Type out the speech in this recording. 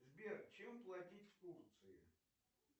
сбер чем платить в турции